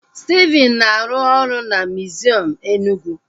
Stephen na-arụ ọrụ na miziọm Enugwu